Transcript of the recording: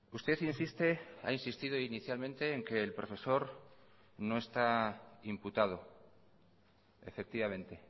usted insiste ha insistido inicialmente en que el profesor no está imputado efectivamente